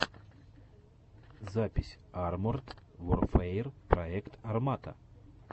запись арморд ворфэер проект армата